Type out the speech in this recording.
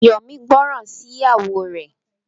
Yomi gbóròn sí ìyàwó rẹ.